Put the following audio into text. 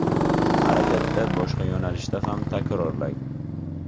Harakatda boshqa yo‘nalishda ham takrorlang.